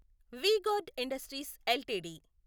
we Guard Industries LTD